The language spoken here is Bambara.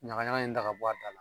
Ɲagaɲaga in ta ka bɔ a da la